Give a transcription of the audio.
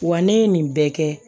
Wa ne ye nin bɛɛ kɛ